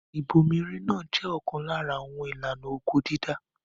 Ìbomirin náà jẹ́ ọ̀kan lára àwọn ìlànà oko-dídá.